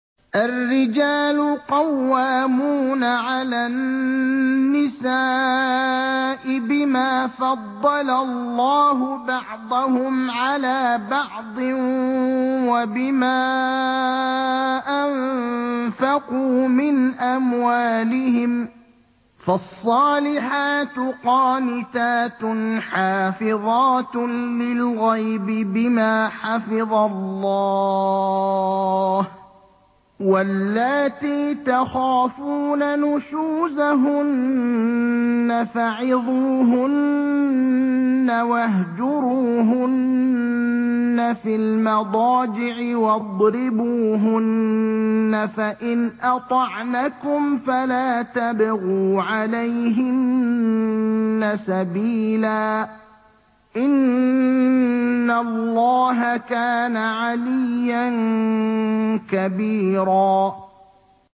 الرِّجَالُ قَوَّامُونَ عَلَى النِّسَاءِ بِمَا فَضَّلَ اللَّهُ بَعْضَهُمْ عَلَىٰ بَعْضٍ وَبِمَا أَنفَقُوا مِنْ أَمْوَالِهِمْ ۚ فَالصَّالِحَاتُ قَانِتَاتٌ حَافِظَاتٌ لِّلْغَيْبِ بِمَا حَفِظَ اللَّهُ ۚ وَاللَّاتِي تَخَافُونَ نُشُوزَهُنَّ فَعِظُوهُنَّ وَاهْجُرُوهُنَّ فِي الْمَضَاجِعِ وَاضْرِبُوهُنَّ ۖ فَإِنْ أَطَعْنَكُمْ فَلَا تَبْغُوا عَلَيْهِنَّ سَبِيلًا ۗ إِنَّ اللَّهَ كَانَ عَلِيًّا كَبِيرًا